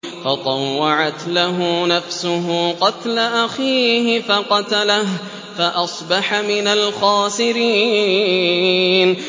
فَطَوَّعَتْ لَهُ نَفْسُهُ قَتْلَ أَخِيهِ فَقَتَلَهُ فَأَصْبَحَ مِنَ الْخَاسِرِينَ